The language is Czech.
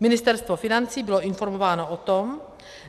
Ministerstvo financí bylo informováno o tom,